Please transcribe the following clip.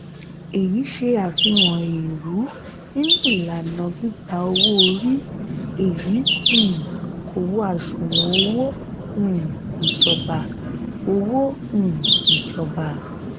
èyí ṣe àfihàn èèrú nínú ìlànà gbígbá owó-orí èyí um kò wọ àsùnwòn owó um ìjọba. owó um ìjọba.